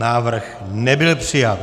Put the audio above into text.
Návrh nebyl přijat.